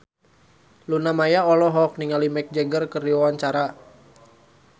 Luna Maya olohok ningali Mick Jagger keur diwawancara